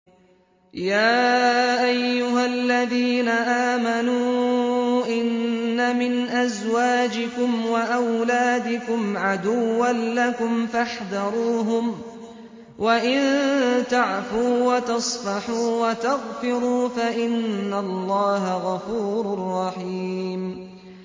يَا أَيُّهَا الَّذِينَ آمَنُوا إِنَّ مِنْ أَزْوَاجِكُمْ وَأَوْلَادِكُمْ عَدُوًّا لَّكُمْ فَاحْذَرُوهُمْ ۚ وَإِن تَعْفُوا وَتَصْفَحُوا وَتَغْفِرُوا فَإِنَّ اللَّهَ غَفُورٌ رَّحِيمٌ